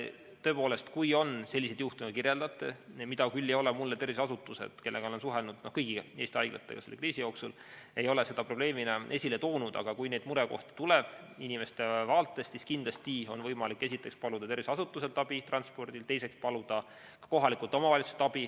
Tõepoolest, kui on selliseid juhtumeid, nagu te kirjeldasite, mida küll ei ole mulle tervishoiuasutused, kellega olen suhelnud – ja ma olen suhelnud kõigi Eesti haiglatega selle kriisi jooksul –, probleemina esile toonud, kui neid murekohti inimeste vaates tuleb, siis kindlasti on võimalik esiteks paluda tervishoiuasutuselt abi transpordiks, teiseks paluda abi kohalikult omavalitsuselt.